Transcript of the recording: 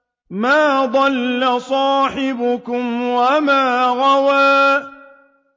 مَا ضَلَّ صَاحِبُكُمْ وَمَا غَوَىٰ